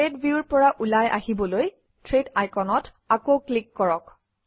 thread ভিউৰ পৰা ওলাই আহিবলৈ থ্ৰেড আইকনত আকৌ ক্লিক কৰক